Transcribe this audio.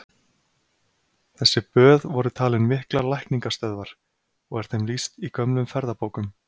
Þessi böð voru talin miklar lækningastöðvar, og er þeim lýst í gömlum ferðabókum.